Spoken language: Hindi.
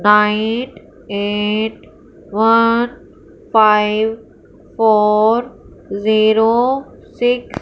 Nine eight one five four zero six.